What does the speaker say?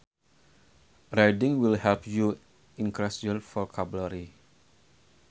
Reading will help you increase your vocabulary